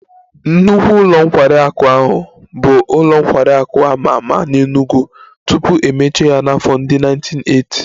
Nnukwu ụlọ nkwari akụ ahụ bụ ụlọ nkwari akụ a ma ama n'Enugwu tupu e mechie ya n'afọ ndị 1980